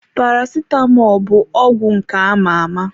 Paracetamọl bụ ọgwụ nke ama-ama.